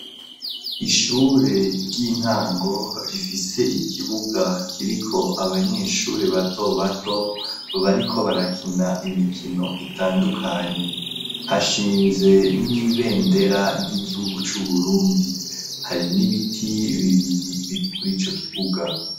ishure ry'intango rifise ikibuga kiriko abanyeshuri bato bato bariko barakina imikino itandukanye hashinze n'ibendera ry'igihugu c'uburundi hari n'ibiti bibiri biri kuri ico kibuga